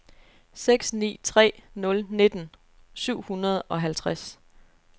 seks ni tre nul nitten syv hundrede og halvtreds